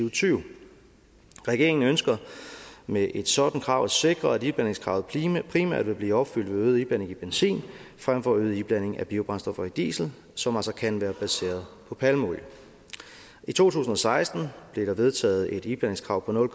og tyve regeringen ønsker med et sådant krav at sikre at iblandingskravet primært vil blive opfyldt ved øget iblanding i benzin fremfor øget iblanding af biobrændstoffer i diesel som altså kan være baseret på palmeolie i to tusind og seksten blev der vedtaget et iblandingskrav på nul